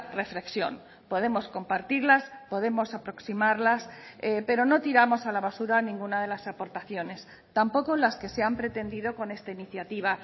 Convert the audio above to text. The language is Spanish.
reflexión podemos compartirlas podemos aproximarlas pero no tiramos a la basura ninguna de las aportaciones tampoco las que se han pretendido con esta iniciativa